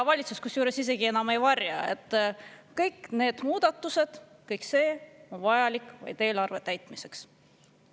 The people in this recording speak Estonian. Kusjuures valitsus isegi enam ei varja, et kõik need muudatused, kõik see on vajalik vaid eelarve täitmiseks.